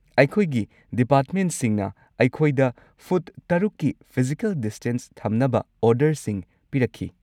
ꯑꯩꯈꯣꯏꯒꯤ ꯗꯤꯄꯥꯔꯠꯃꯦꯟꯠꯁꯤꯡꯅ ꯑꯩꯈꯣꯏꯗ ꯐꯨꯠ ꯇꯔꯨꯛꯀꯤ ꯐꯤꯖꯤꯀꯦꯜ ꯗꯤꯁꯇꯦꯟꯁ ꯊꯝꯅꯕ ꯑꯣꯔꯗꯔꯁꯤꯡ ꯄꯤꯔꯛꯈꯤ꯫